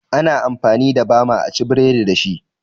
Ana amfani da bama a ci burodi dashi